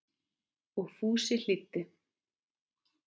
Og Fúsi hlýddi.